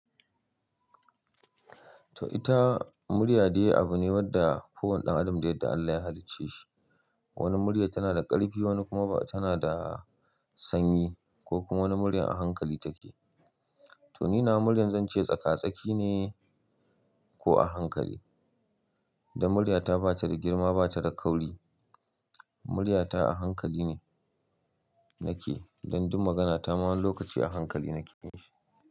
To ita murya dai abu ne wanda kowane ɗan adam dai dai Allah ya halicce shi. Wani murya tana da ƙarfi, wani kuma ba tana da sanyi ko kuma wani murya a hankali take. To ni na murya zance tsaka tsaki ne ko a hankali. Da murya ta ba ta da girma, ba ta da kauri. Murya ta a hankali ne nake, dan duk magana ta ma wani lokaci a hankali nake yi shi.